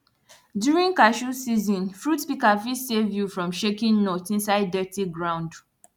during cashew season fruit pika fit save you from shaking nuts inside dirty ground